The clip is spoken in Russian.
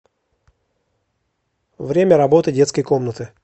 время работы детской комнаты